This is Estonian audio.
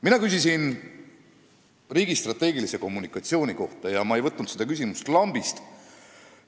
Mina küsisin riigi strateegilise kommunikatsiooni kohta ja ma ei võtnud seda küsimust lambist.